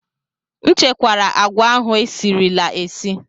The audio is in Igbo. M chekwara agwa ahụ e sirila esi.